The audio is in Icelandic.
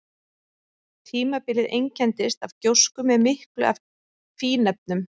Tímabilið einkenndist af gjósku með miklu af fínefnum.